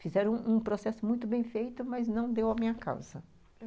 Fizeram um um processo muito bem feito, mas não deu a minha causa.